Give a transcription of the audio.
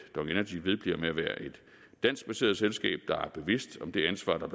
danskbaseret selskab der er bevidst om det ansvar der